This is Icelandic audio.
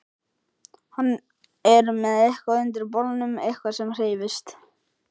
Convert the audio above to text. Hann er með eitthvað undir bolnum, eitthvað sem hreyfist.